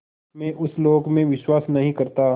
मैं उस लोक में विश्वास नहीं करता